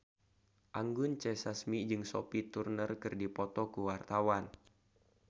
Anggun C. Sasmi jeung Sophie Turner keur dipoto ku wartawan